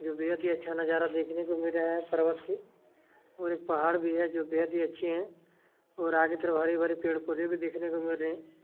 जो बेहद ही अच्छा नजारा देखने को मिल रहा है पर्वत की और एक पहाड़ भी है जो बेहत ही अच्छी है और आगे तरफ पेड़-पोधे भी देखने को मिल रहे है।